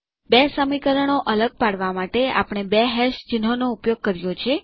બે સમીકરણો અલગ પાડવા માટે આપણે બે હેશ ચિહ્નોનો ઉપયોગ કર્યો છે